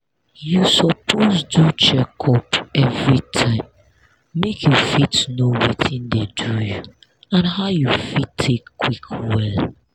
you suppose do checkup everytime make you fit know watin dey do you and how you fit take quick well.